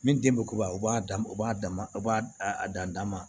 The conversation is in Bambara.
Min den bɛ koba o b'a dan o b'a dama o b'a a dan ma